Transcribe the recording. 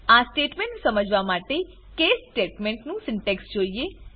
આ સ્ટેટમેંટ સમજવા માટે કેસ સ્ટેટમેન્ટ નું સિન્ટેક્સ જોઈએ